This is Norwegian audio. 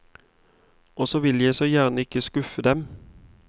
Og så vil jeg så gjerne ikke skuffe dem.